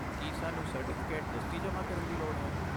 ਕੀ ਸਾਨੂੰ ਸਰਟੀਫਿਕੇਟ ਦਸਤੀ ਜਮ੍ਹਾ ਕਰਨ ਦੀ ਲੋੜ ਹੈ?